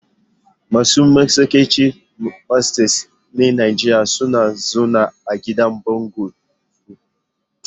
Masu matsakaicin matsayi na Najeriya suna zaune a gidajen bungalow.